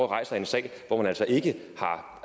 rejser en sag om altså ikke har